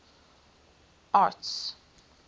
arts